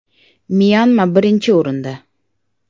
Myanma birinchi o‘rinda.